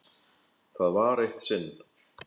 Það var eitt sinn.